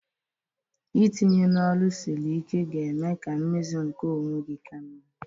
Itinye n'ọrụ siri ike ga-eme ka mmezu nke onwe gị ka mma